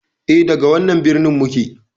E, daga wannan birnin muke.